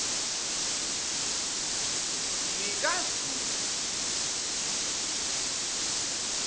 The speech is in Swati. ngikazulu